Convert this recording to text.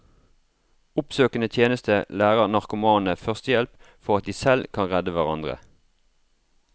Oppsøkende tjeneste lærer narkomane førstehjelp for at de selv kan redde hverandre.